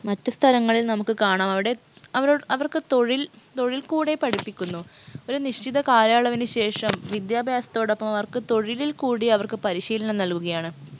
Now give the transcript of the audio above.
മറ്റു സ്ഥലങ്ങളിൽ നമുക്ക് കാണാം അവിടെ അവരൊ അവർക്ക് തൊഴിൽ തൊഴിൽ കൂടെ പഠിപ്പിക്കുന്നു ഒരു നിശ്ചിത കാലയളവിന് ശേഷം വിദ്യാഭ്യാസത്തോടൊപ്പം അവർക്ക് തൊഴിലിൽ കൂടി അവർക്ക് പരിശീലനം നൽകുകയാണ്